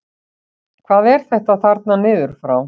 Hvað er þetta þarna niður frá?